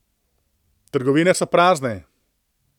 Trgovine so prazne.